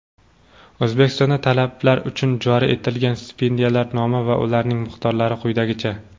O‘zbekistonda talabalar uchun joriy etilgan stipendiyalar nomi va ularning miqdorlari quyidagicha:.